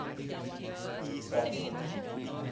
samuel's